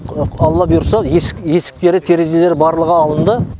алла бұйыртса есіктері терезелері барлығы алынды